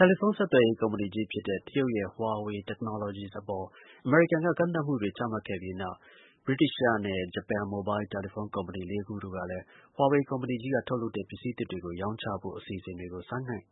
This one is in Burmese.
တယ်လီဖုံးဆက်သွယ်ရေး ကုမ္ပဏီကြီး ဖြစ်တဲ့ တရုတ်ရဲ့ Huawei Technologies အပေါ် အမေရိကန်က ကန့်သတ်မှုတွေ ချမှတ်ခဲ့ပြီးနောက် ဗြိတိသျှနဲ့ ဂျပန် မိုဘိုင်းလ် တယ်လီဖုံး ကုမ္ပဏီ လေးခုတို့ကလည်း Huawei ကုမ္ပဏီကြီးက ထုတ်လုပ်တဲ့ ပစ္စည်းသစ်တွေကို ရောင်းချဖို့ အစီအစဉ်တွေ ဆိုင်းငံ့